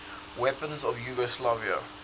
weapons of yugoslavia